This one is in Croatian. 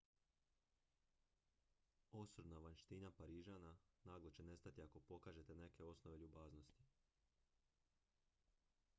osorna vanjština parižana naglo će nestati ako pokažete neke osnove ljubaznosti